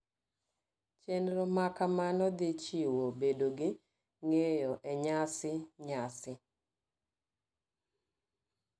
Chenro maka mano dhi chiwo bedo gi ng'eyo e nyasi nyasi .